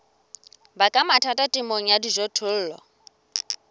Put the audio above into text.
baka mathata temong ya dijothollo